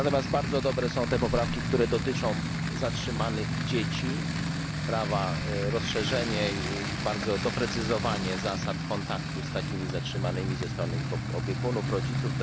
Bardzo dobre są te również poprawki, które dotyczą zatrzymanych dzieci, rozszerzenia i doprecyzowania zasad kontaktu z takimi zatrzymanymi ze strony ich opiekunów, rodziców.